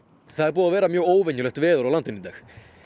það er búið að vera mjög óvenjulegt veður á landinu í dag